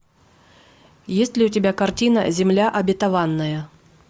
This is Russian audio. есть ли у тебя картина земля обетованная